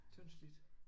Tyndslidt